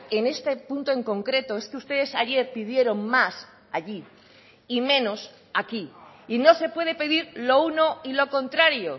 en este punto en concreto es que ustedes ayer pidieron más allí y menos aquí y no se puede pedir lo uno y lo contrario